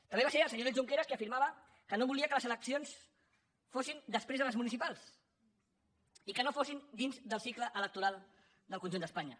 també va ser el senyor oriol junqueras qui afirmava que no volia que les eleccions fossin després de les municipals i que no fossin dins del cicle electoral del conjunt d’espanya